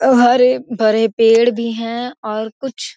अ हरे-भरे पेड़ भी हैं और कुछ --